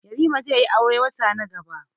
Yarima zaiyi aure wata na gaba.